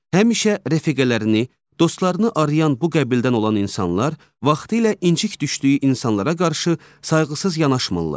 Həmişə rəfiqələrini, dostlarını arayan bu qəbildən olan insanlar vaxtilə incik düşdüyü insanlara qarşı sayğısız yanaşmırlar.